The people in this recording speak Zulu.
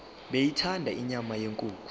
beyithanda inyama yenkukhu